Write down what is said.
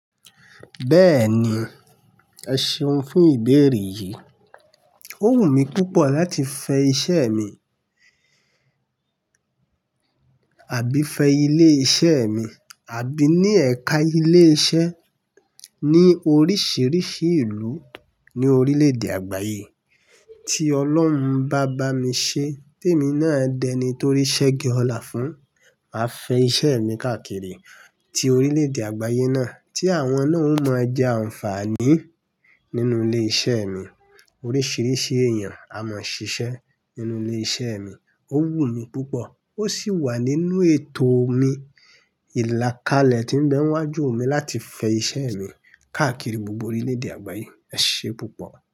Bẹ́ẹ̀ni, ẹ ṣeun fún ìbéèrè yìí. Ó wù mí púpọ̀ láti fẹ iṣẹ́ mi àbí fẹ ilé iṣẹ́ mi, àbí ní ẹ̀ka ilé iṣẹ́ ní oríṣiríṣi ìlú ní orílẹ̀ èdè àgbáyé. Tí Ọlọ́run bá bá mi ṣe, té mi náà dẹni torí sẹ́gi ọlá fún, màá fẹ iṣẹ́ mi káàkiri ti orílẹ̀ èdè àgbáyé náà tí àwọn náà ó mọ je àǹfààní nínú ilé iṣẹ́ mi. Oríṣiríṣi èèyàn a mọ ṣiṣẹ́ nínú ilé iṣẹ́ mi. Ó wù mí púpọ̀ ó sì wà nínú ètò mi. Ìlàkalẹ̀ tí ń bẹ wájú mi láti fẹ iṣẹ́ mi káàkiri gbogbo orílẹ̀ èdè àgbáyé. Ẹ ṣeun púpọ̀